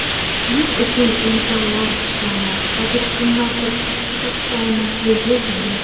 Buning uchun esa insonlar sha’ni, qadr-qimmati toptalmasligi zarur.